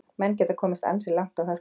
Menn geta komist ansi langt á hörkunni.